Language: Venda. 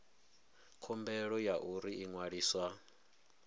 khumbelo ya uri u ṅwaliswa